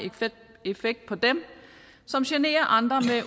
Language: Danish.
effekt på dem som generer andre